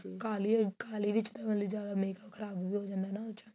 ਕਾਲੀ ਉਹੀ ਕਾਲੀ ਵਿੱਚ ਮਤਲਬ ਕੀ ਜਿਆਦਾ makeup ਖਰਾਬ ਹੋ ਜਾਂਦਾ ਨਾ ਉਸ ਚ